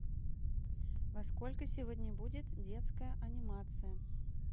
во сколько сегодня будет детская анимация